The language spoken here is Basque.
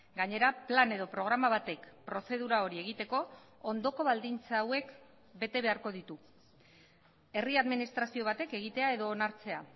gainera plan edo programa batek prozedura hori egiteko ondoko baldintza hauek bete beharko ditu herri administrazio batek egitea edo onartzea